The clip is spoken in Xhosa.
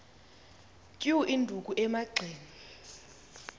tyu induku emagxeni